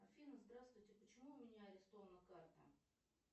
афина здравствуйте почему у меня арестована карта